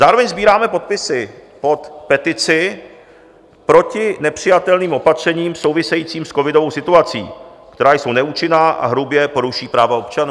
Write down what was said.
Zároveň sbíráme podpisy pod petici proti nepřijatelným opatřením souvisejícím s covidovou situací, která jsou neúčinná a hrubě porušují práva občanů.